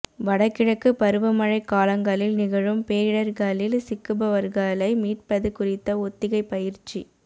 வடகிழக்கு பருவ மழைக் காலங்களில் நிகழும் பேரிடர்களில் சிக்குபவர்களை மீட்பது குறித்த ஒத்திகை பயிற்சி